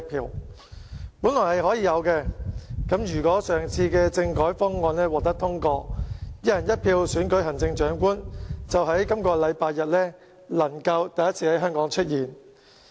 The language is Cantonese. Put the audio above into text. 他們本來可以投票的，如果上次政改方案獲得通過，"一人一票"選舉行政長官就能在本星期天首次在香港出現。